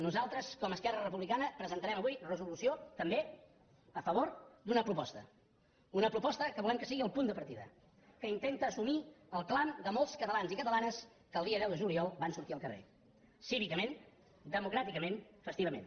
nosaltres com a esquerra republicana presentarem avui resolució també a favor d’una proposta una proposta que volem que sigui el punt de partida que intenta assumir el clam de molts catalans i catalanes que el dia deu de juliol van sortir al carrer cívicament democràticament festivament